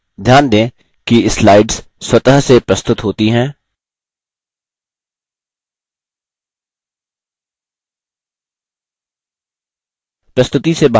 ध्यान दें कि slides स्वतः से प्रस्तुत होती हैं